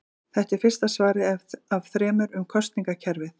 Þetta er fyrsta svarið af þremur um kosningakerfið.